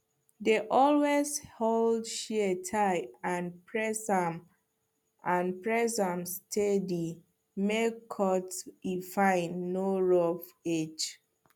dey always hold shear tight and press am and press am steady make cut e fine no rough edge